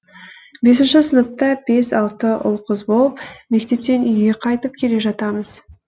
бесінші сыныпта бес алты ұл қыз болып мектептен үйге қайтып келе жатамыз